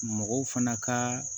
Mɔgɔw fana ka